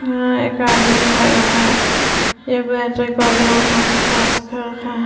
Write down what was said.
अअअ एक आदमी खड़ा है --